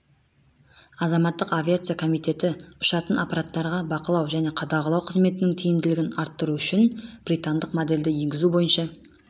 азаматтық авиация комитеті ұшатын аппараттарға бақылау және қадағалау қызметінің тиімділігін арттыру үшін британдық модельді енгізу бойынша